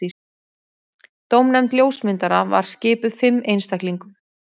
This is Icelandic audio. Dómnefnd ljósmynda var skipuð fimm einstaklingum